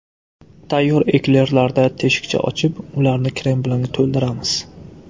Tayyor eklerlarda teshikcha ochib, ularni krem bilan to‘ldiramiz.